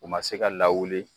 U ma se ka lawuli